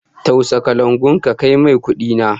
Tausa kalangun ka kai mai kudi na!